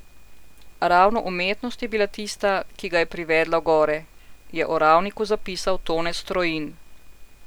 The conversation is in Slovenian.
Ravno umetnost je bila tista, ki ga je privedla v gore, je o Ravniku zapisal Tone Strojin.